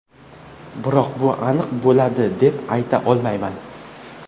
Biroq bu aniq bo‘ladi deb ayta olmayman.